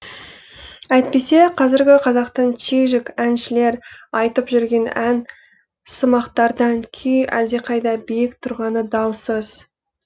әйтпесе қазіргі қазақтың чижик әншілері айтып жүрген ән сымақтардан күй әлдеқайда биік тұрғаны даусыз